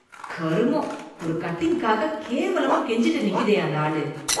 கருமொம், ஒரு கட்டிங்காக கேவலமா கெஞ்சிகிட்டு நிக்குதே அந்த ஆளு.